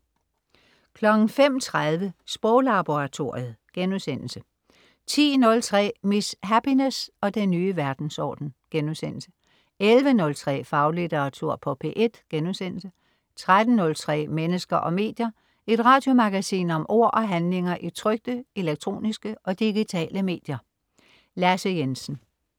05.03 Sproglaboratoriet* 10.03 Miss Happiness og den nye verdensorden* 11.03 Faglitteratur på P1* 13.03 Mennesker og medier. Et radiomagasin om ord og handlinger i trykte, elektroniske og digitale medier. Lasse Jensen